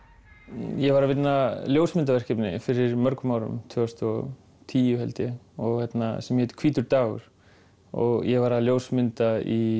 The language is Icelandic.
ég var að vinna ljósmyndaverkefni fyrir mörgum árum tvö þúsund og tíu held ég sem hét hvítur dagur ég var að ljósmynda í